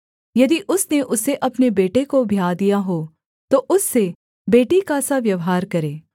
यदि उसने उसे अपने बेटे को ब्याह दिया हो तो उससे बेटी का सा व्यवहार करे